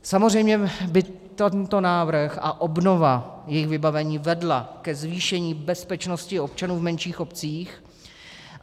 Samozřejmě by tento návrh a obnova jejich vybavení vedla ke zvýšení bezpečnosti občanů v menších obcích.